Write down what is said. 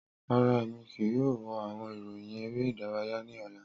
Rara, Emi kii yoo wo awọn iroyin ere idaraya ni ọla.